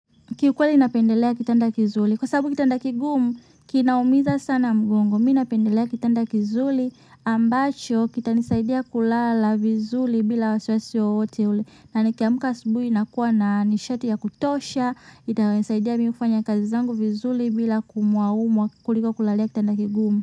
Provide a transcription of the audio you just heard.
Kiukweli napendelea kitanda kizuri. Kwa sababu kitanda kigumu kinaumiza sana mgongo. Mi napendelea kitanda kizuri. Ambacho, kitanisaidia kulala vizuri bila wasiwasi wowote ule. Na nikiamuka asubuhi nakuwa na nishati ya kutosha. Itanisaidia mimi kufanya kazi zangu vizuri bila kuumuaumua kuliko kulalia kitanda kigumu.